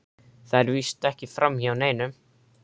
Það fer víst ekki framhjá neinum.